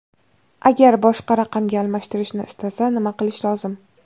Agar boshqa raqamga almashtirishni istasa, nima qilish lozim?